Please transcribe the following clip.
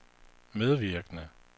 medvirkende